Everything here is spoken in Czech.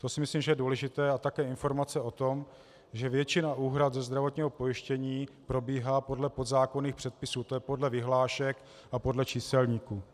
To si myslím, že je důležité, a také informace o tom, že většina úhrad ze zdravotního pojištění probíhá podle podzákonných předpisů, to je podle vyhlášek a podle číselníků.